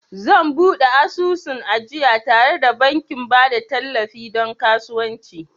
Zan buɗe asusun ajiya tare da bankin ba da tallafi don kasuwanci